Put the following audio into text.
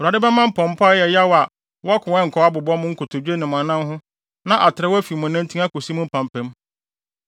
Awurade bɛma mpɔmpɔ a ɛyɛ yaw a wɔko a ɛnkɔ abobɔ mo nkotodwe ne mo anan ho na atrɛw afi mo nantin akosi mo mpampam.